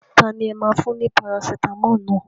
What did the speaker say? Tani ẹ máa fún ní Parasitamọ́ọ̀ naa?